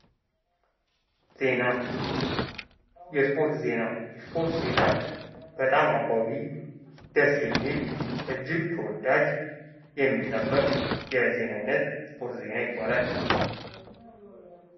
ዜና ። የስፖርት ዜና ፡ የስፖርት ዜና በጣም አጎጊ ደስ የሚል እጅግ ተወዳጅ የሚጠበቅ የዜና አይነት የስፖርት ዜና ይባላል ።